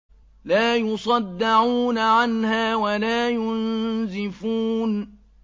لَّا يُصَدَّعُونَ عَنْهَا وَلَا يُنزِفُونَ